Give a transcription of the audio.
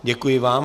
Děkuji vám.